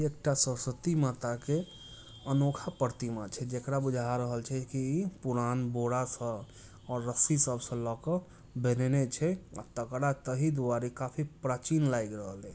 एकटा सरस्वती माता के अनोखा प्रतिमा छै जेकरा बुझा रहल छै कि पुरान बोरा स और रस्सी सबसे के बनेने छै तकरा तहि दुआरे काफी प्राचीन लैग रहले--